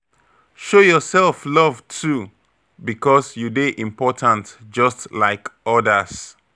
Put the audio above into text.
Show yourself love too, because you dey important just like others